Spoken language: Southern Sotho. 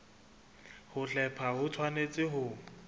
ho hlepha ho tshwanetse ho